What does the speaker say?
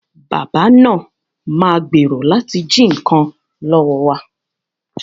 Bàbá náà ma gbèrò láti jí nǹkan lọ́wọ́ wa